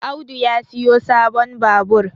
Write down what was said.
Audu ya siyo sabon Babur